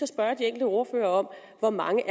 spørge de enkelte ordførere om hvor mange